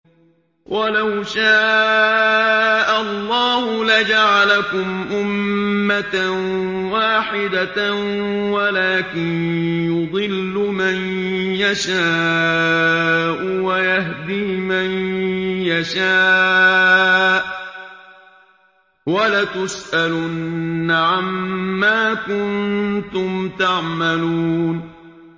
وَلَوْ شَاءَ اللَّهُ لَجَعَلَكُمْ أُمَّةً وَاحِدَةً وَلَٰكِن يُضِلُّ مَن يَشَاءُ وَيَهْدِي مَن يَشَاءُ ۚ وَلَتُسْأَلُنَّ عَمَّا كُنتُمْ تَعْمَلُونَ